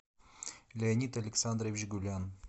леонид александрович гулян